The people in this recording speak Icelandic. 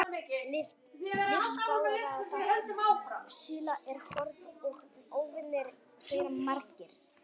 Lífsbarátta síla er hörð og óvinir þeirra margir.